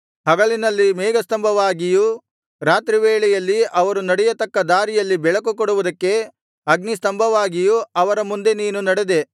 ಹಗಲಿನಲ್ಲಿ ಮೇಘಸ್ತಂಭವಾಗಿಯೂ ರಾತ್ರಿ ವೇಳೆಯಲ್ಲಿ ಅವರು ನಡೆಯತಕ್ಕ ದಾರಿಯಲ್ಲಿ ಬೆಳಕುಕೊಡುವುದಕ್ಕೆ ಅಗ್ನಿಸ್ತಂಭವಾಗಿಯೂ ಅವರ ಮುಂದೆ ನೀನು ನಡೆದೆ